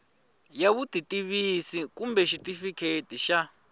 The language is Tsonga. ya vutitivisi kumbe xitifiketi xa